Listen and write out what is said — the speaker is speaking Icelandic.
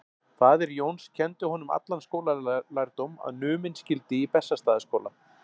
Faðir Jóns kenndi honum allan skólalærdóm sem numinn skyldi í Bessastaðaskóla.